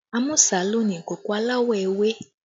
Amusa ló ni ìkòkò aláwọ̀ ewé